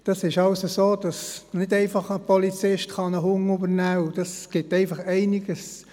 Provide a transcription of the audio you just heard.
Als Polizist ist es nicht so einfach, einen Hund zu übernehmen.